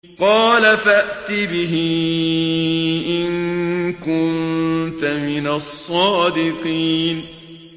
قَالَ فَأْتِ بِهِ إِن كُنتَ مِنَ الصَّادِقِينَ